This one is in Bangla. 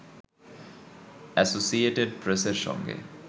এসোসিয়েটেড প্রেসের সঙ্গে